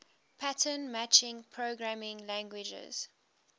pattern matching programming languages